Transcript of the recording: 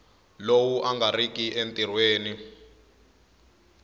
lowu a nga riki entirhweni